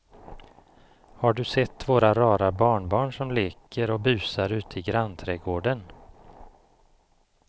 Har du sett våra rara barnbarn som leker och busar ute i grannträdgården!